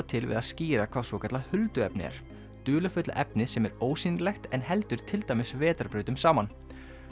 til við að skýra hvað svokallað hulduefni er dularfulla efnið sem er ósýnilegt en heldur til dæmis vetrarbrautum saman